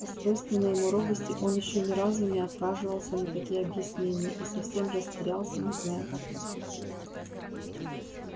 по свойственной ему робости он ещё ни разу не отваживался на такие объяснения и совсем растерялся не зная как поступить